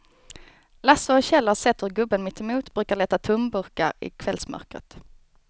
Lasse och Kjell har sett hur gubben mittemot brukar leta tomburkar i kvällsmörkret.